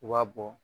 U b'a bɔ